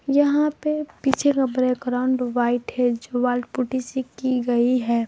यहां पे पीछे का बैकग्राउंड व्हाइट हैं जो वॉल पुटी से की गई है।